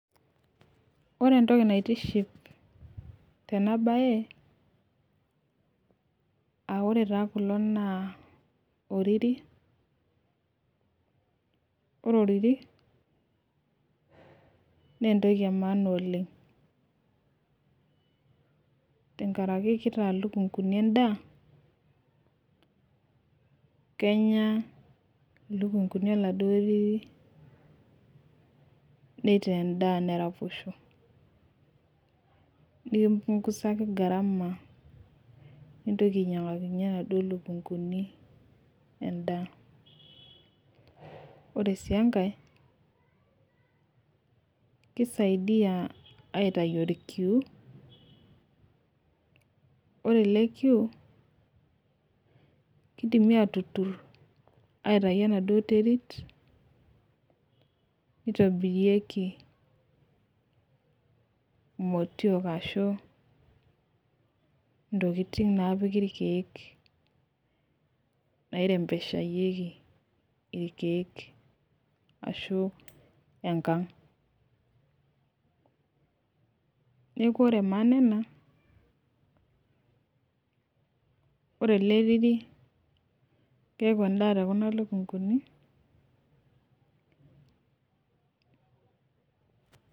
Ore entoki naitiship tena bae, aa ore taa kulo naa oriri. ore oriri naa entoki emaana oleng. tenkaraki kitaa lukunkuni. edaa. kenya oladuoo riri nitaa edaa neraposho. nikipungusaku gharama nintoki ainyiangakinye inaduoo ropiyiani, edaa. ore sii enkae, kisaidia aitayu orkiu. ore ele kitu, kidimi aatutur aitayu enaduoo terit, nitobirirki imotiolk ashu ntokitin naapiki irkeek. nairemoeshayieki irkeek, ashu, enkang. neekh ore maana ena. ore ele riri keeku edaa too Kuna lukunkuni,